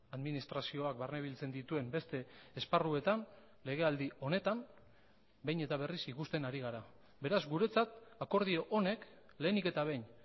administrazioak barne biltzen dituen beste esparruetan legealdi honetan behin eta berriz ikusten ari gara beraz guretzat akordio honek lehenik eta behin